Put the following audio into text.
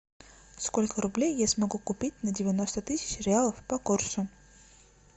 сколько рублей я смогу купить на девяносто тысяч реалов по курсу